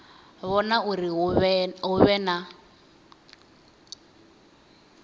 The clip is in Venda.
vhona uri hu vhe na